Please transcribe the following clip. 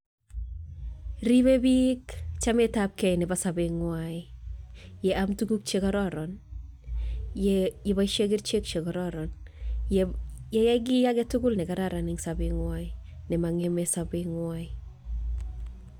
Ribei biik chametab kei nebo sobeng'wai team tuguk chekororon yeboishe kerichek chekororon yeyai kii agetugul nekararan eng' sobeng'wai nemang'emei sabeng'wai